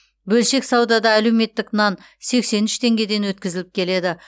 бөлшек саудада әлеуметтік нан сексен үш теңгеден өткізіліп келеді